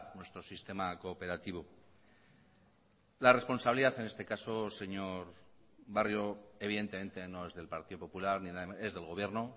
nuestro sistema cooperativo la responsabilidad en este caso señor barrio evidentemente no es del partido popular es del gobierno